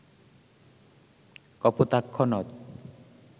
কপোতাক্ষ নদ